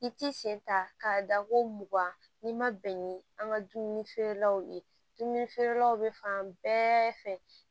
I t'i sen ta k'a da ko mugan n'i ma bɛn ni an ka dumuni feerelaw ye dumuni feerelaw bɛ fan bɛɛ fɛ